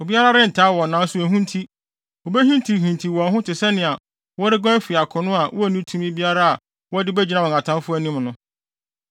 Obiara rentaa wɔn nanso ehu nti, wobehintihintiw wɔn ho wɔn ho te sɛnea wɔreguan afi akono a wonni tumi biara a wɔde begyina wɔn atamfo anim no.